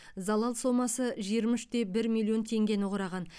залал сомасы жиырма үш те бір миллион теңгені құраған